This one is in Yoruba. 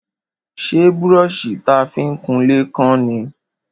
Ṣé brọ́ṣì ta fi ń kunlé kán ni?